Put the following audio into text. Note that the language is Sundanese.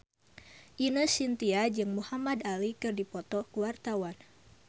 Ine Shintya jeung Muhamad Ali keur dipoto ku wartawan